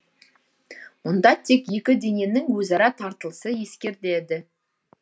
мұнда тек екі дененің өзара тартылысы ескертеді